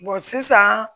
sisan